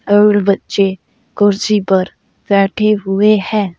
और बच्चे कुर्सी पर बैठे हुए हैं।